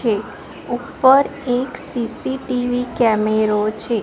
છે ઉપર એક સી_સી_ટી_વી કેમેરો છે.